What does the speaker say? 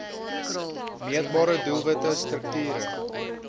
meetbare doelwitte strukture